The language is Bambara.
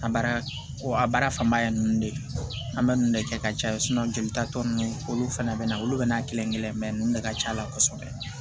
An baara ko a baara fanba ye nunnu de ye an bɛ nunnu de kɛ ka caya jelita tɔ ninnu olu fana bɛ na olu bɛ n'a kelen-kelen mɛ ninnu de ka ca la kosɛbɛ